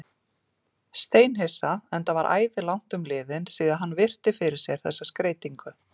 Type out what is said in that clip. Steinhissa, enda var æði langt um liðið síðan hann virti fyrir sér þessa skreytingu.